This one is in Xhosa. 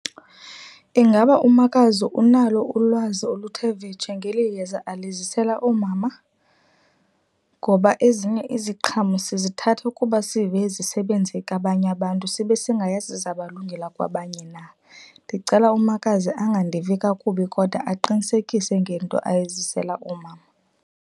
Ingaba umakazi unalo ulwazi oluthe vetshe ngeli yeza alisele oomama? Ngoba ezinye iziqhamo sizithathe ukuba sive zisebenze kwabanye abantu sibe singayazi ziza kubalungela kwabanye na. Ndicela umakazi angandivi kakubi kodwa aqinisekise ngento eyizisela oomama.